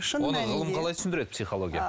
оны ғылым қалай түсіндіреді психология